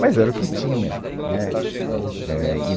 Mas era o que tinha, né. Éh, e